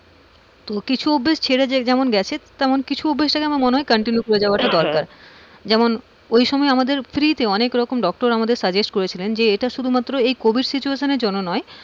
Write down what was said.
কিছু অভ্যাস ছেড়ে যেমন গেছে তেমন কিছু অভ্যেস মনে হয় continue করে যাওয়াটা দরকার। যেমন ওই সময় আমাদের free তে অনেক রকম ডাক্তার আমাদের suggest করেছিলেন যে এটা শুধুমাত্র covid situation এর জন্য নয়,